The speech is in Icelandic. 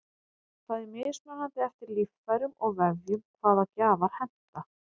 það er mismunandi eftir líffærum og vefjum hvaða gjafar henta